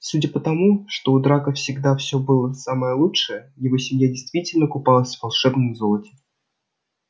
судя по тому что у драко всегда всё было самое лучшее его семья действительно купалась в волшебном золоте